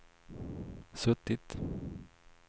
suttit